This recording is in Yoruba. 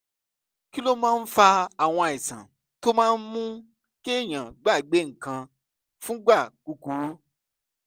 kí ló máa ń fa àwọn àìsàn tó máa ń mú kéèyàn gbàgbé nǹkan fúngbà kúkúrú?